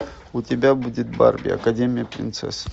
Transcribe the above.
у тебя будет барби академия принцесс